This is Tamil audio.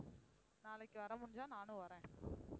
நாளைக்கு வர முடிஞ்சா நானும் வரேன்